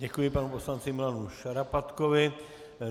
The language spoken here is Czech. Děkuji panu poslanci Milanu Šarapatkovi.